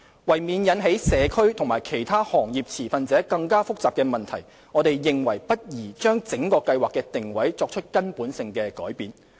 為免引起社區及其他行業持份者更加複雜的問題，我們認為不宜將整個計劃的定位作出根本性的改變。